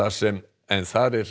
sem